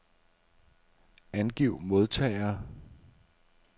Angiv modtagere.